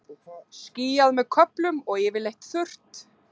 Skýjað með köflum og yfirleitt þurrt